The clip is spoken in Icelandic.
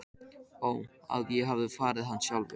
Ó að ég hefði farið hana sjálfur.